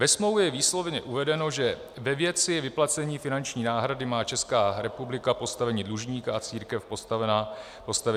Ve smlouvě je výslovně uvedeno, že ve věci vyplacení finanční náhrady má Česká republika postavení dlužníka a církev postavení věřitele.